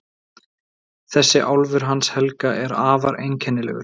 Þessi álfur hans Helga er afar einkennilegur.